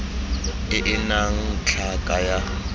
e e nnang tlhaka ya